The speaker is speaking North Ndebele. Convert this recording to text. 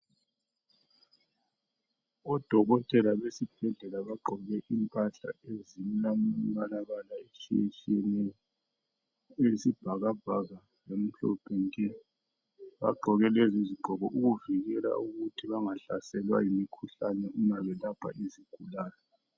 Odokotela besibhedlela bagqoke impahla ezilambalabala etshiyetshiyeneyo eyisibhakabhaka lomhlophe nke bagqoke lezizigqoko ukuvikela ukuthi bangahlaselwa yimikhuhlane uma belapha izigulane.